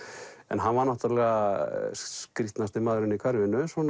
hann var náttúrulega skrýtnasti maðurinn í hverfinu